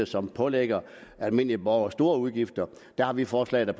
som pålægger almindelige borgere store udgifter der har vi forslag der